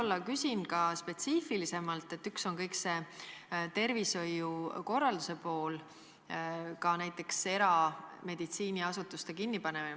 Ma küsin spetsiifilisemalt: üks asi on kõik see tervishoiu korralduse pool, ka näiteks erameditsiiniasutuste kinnipanemine.